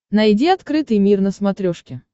найди открытый мир на смотрешке